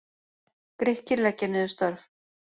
Grikkir leggja niður störf